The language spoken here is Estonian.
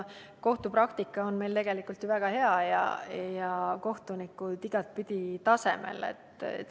Kohtupraktika on meil tegelikult ju väga hea ja kohtunikud igatpidi tasemel.